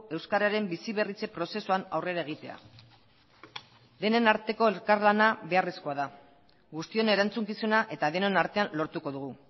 euskararen biziberritze prozesuan aurrera egitea denen arteko elkarlana beharrezkoa da guztion erantzukizuna eta denon artean lortuko dugu